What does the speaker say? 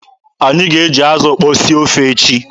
Anyị ga-eji azụ ukpo sie ofe echi.